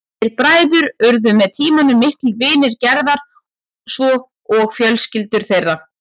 Þeir bræður urðu með tímanum miklir vinir Gerðar svo og fjölskyldur þeirra.